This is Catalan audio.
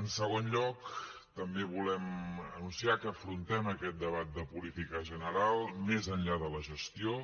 en segon lloc també volem anunciar que afrontem aquest debat de política general més enllà de la gestió